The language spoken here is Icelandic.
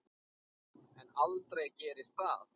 En aldrei gerist það.